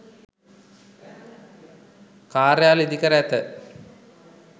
කාර්යාල ඉදිකර ඇත